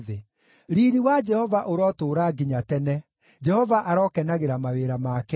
Riiri wa Jehova ũrotũũra nginya tene; Jehova arokenagĩra mawĩra make: